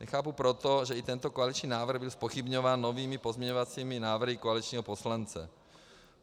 Nechápu proto, že i tento koaliční návrh byl zpochybňován novými pozměňovacími návrhy koaličního poslance.